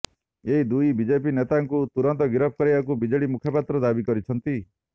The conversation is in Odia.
ଏହି ଦୁଇ ବିଜେପି ନେତାଙ୍କୁ ତୁରନ୍ତ ଗିରଫ କରିବାକୁ ବିଜେଡି ମୁଖପାତ୍ର ଦାବି କରିଛନ୍ତି